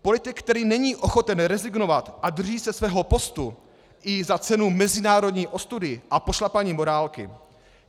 Politik, který není ochoten rezignovat a drží se svého postu i za cenu mezinárodní ostudy a pošlapání morálky.